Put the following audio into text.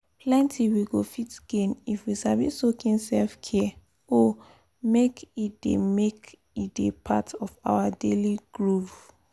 plenty we go fit gain if we sabi soak in self-care oh make e dey make e dey part of our daily groove.